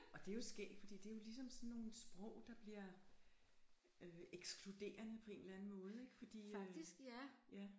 Og det jo skægt fordi det jo ligesom sådan nogle sprog der bliver øh ekskluderende på en eller anden måde ikke fordi øh ja